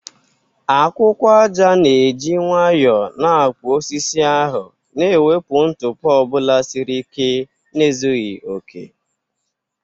Akwụkwọ aja na-eji nwayọọ na-akpụ osisi ahụ, na-ewepụ ntụpọ ọ bụla siri ike na ezughị okè.